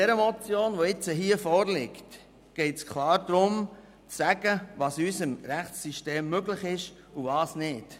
Bei der Motion, die jetzt vorliegt, geht es klar darum zu sagen, was in unserem Rechtssystem möglich ist und was nicht.